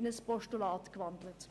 ins Postulat dieser Punkte.